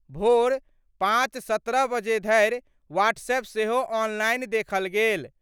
भोर 5:17 बजे धरि व्हाट्सएप सेहो ऑनलाइन देखल गेल।